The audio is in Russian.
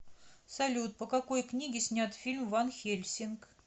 салют по какои книге снят фильм ван хельсинг